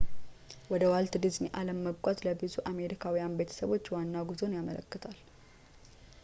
ወደ ዋልት ዲዝኒ አለም መጓዝ ለብዙ አሜሪካዊ ቤተሰቦች ዋና ጉዞን ያመለክታል